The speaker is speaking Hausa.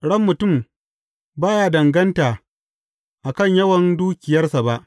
Ran mutum ba ya danganta a kan yawan dukiyarsa ba.